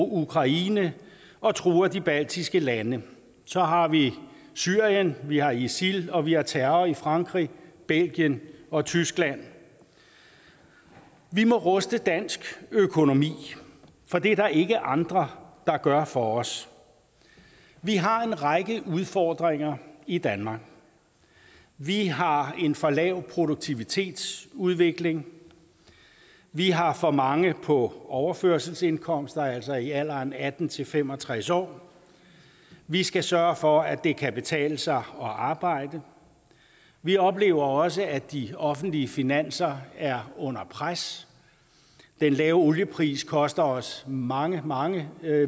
ukraine og truer de baltiske lande så har vi syrien vi har isil og vi har terror i frankrig belgien og tyskland vi må ruste dansk økonomi for det er der ikke andre der gør for os vi har en række udfordringer i danmark vi har en for lav produktivitetsudvikling vi har for mange på overførselsindkomster altså i alderen atten til fem og tres år vi skal sørge for at det kan betale sig at arbejde vi oplever også at de offentlige finanser er under pres den lave oliepris koster os mange mange